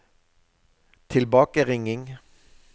tilbakeringing